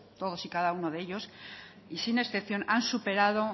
todos y cada uno de ellos y sin excepción han superado